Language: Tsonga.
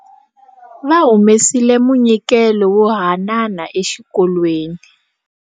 Va humesile munyikelo wo haanana exikolweni.